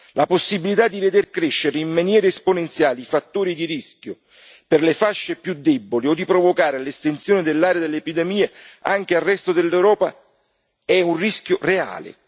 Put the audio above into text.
La possibilità di veder crescere in maniera esponenziale i fattori di rischio per le fasce più deboli o di provocare l'estensione dell'area dell'epidemia anche al resto dell'Europa è un rischio reale.